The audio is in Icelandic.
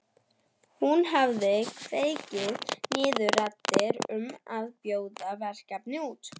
Hún hafi kveðið niður raddir um að bjóða verkið út.